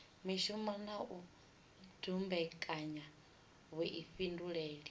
mishumo na u dumbekanya vhuifhinduleli